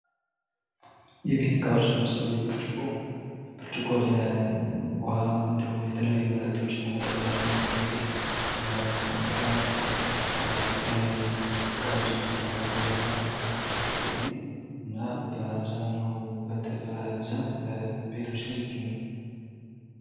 የቤት እቃዎች ለምሳሌ ብርጭቆ፤ ብርጭቆ ለውሃ እንዲሁም የተለያዩ መጠጦችን ለመጠጣት የሚያገለግል ከተለያዩ እቃዎች የሚሰራ የፋብሪካ ውጤት ነው። እና በአብዛኛው በብዛት ቤቶች ላይ ይገኛል።